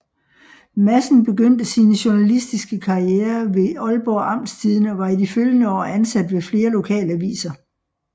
Madsen begyndte sin journalistiske karriere ved Aalborg Amtstidende og var i de følgende år ansat ved flere lokalaviser